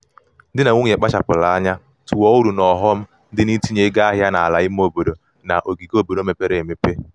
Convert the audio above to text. di na nwunye kpachapụrụ anya tụọ uru na ọghọm dị n'itinye ego ahịa n'ala ime obodo na ogige obodo mepere emepe.